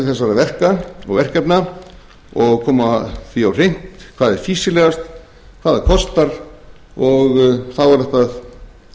þessara verka og verkefna og koma því á hreint hvað er fýsilegast hvað það kostar og þá er hægt að